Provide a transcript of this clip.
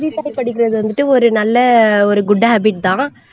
செய்தித்தாள் படிக்குறது வந்துட்டு ஒரு நல்ல ஒரு good habbit தான்.